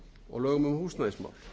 og lögum um húsnæðismál